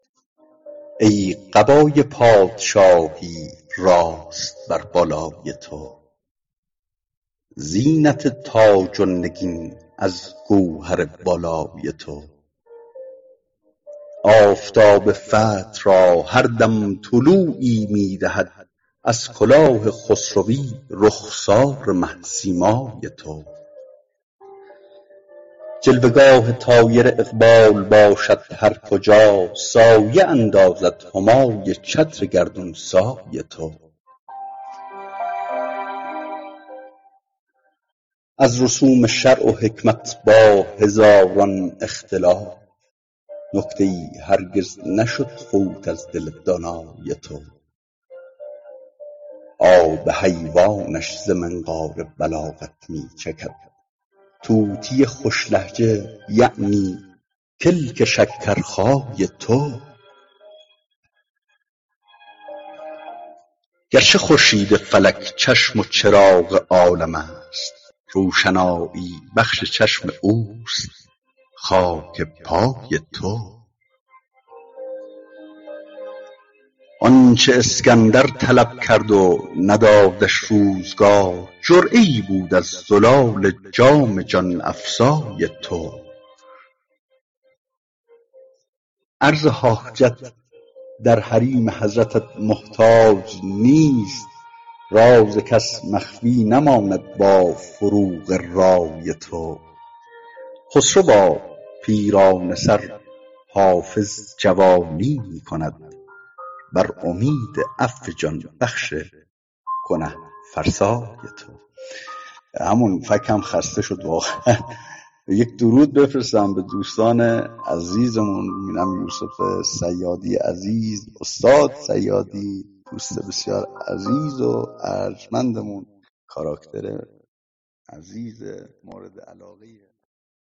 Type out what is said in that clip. ای قبای پادشاهی راست بر بالای تو زینت تاج و نگین از گوهر والای تو آفتاب فتح را هر دم طلوعی می دهد از کلاه خسروی رخسار مه سیمای تو جلوه گاه طایر اقبال باشد هر کجا سایه اندازد همای چتر گردون سای تو از رسوم شرع و حکمت با هزاران اختلاف نکته ای هرگز نشد فوت از دل دانای تو آب حیوانش ز منقار بلاغت می چکد طوطی خوش لهجه یعنی کلک شکرخای تو گرچه خورشید فلک چشم و چراغ عالم است روشنایی بخش چشم اوست خاک پای تو آن چه اسکندر طلب کرد و ندادش روزگار جرعه ای بود از زلال جام جان افزای تو عرض حاجت در حریم حضرتت محتاج نیست راز کس مخفی نماند با فروغ رای تو خسروا پیرانه سر حافظ جوانی می کند بر امید عفو جان بخش گنه فرسای تو